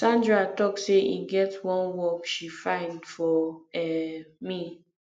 sandra talk say e get wan work she find for um me